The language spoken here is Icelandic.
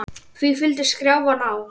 Því fylgdi skrjáf í ná